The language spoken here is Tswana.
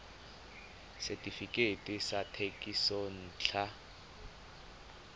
setefikeiti sa thekisontle ya bojalwa